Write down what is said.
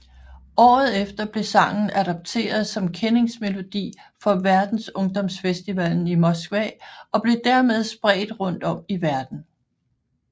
Året efter blev sangen adopteret som kendingsmelodi for Verdensungdomsfestivalen i Moskva og blev dermed spredt rundt om i verden